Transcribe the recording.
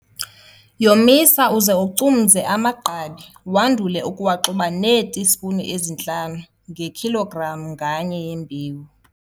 Yomisa uze ucumze amagqabi wandule ukuwaxuba neetispuni ezintlanu ngekhilogram nganye yembewu.